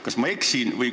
Kas ma eksin?